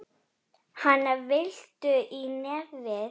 Hana, viltu í nefið?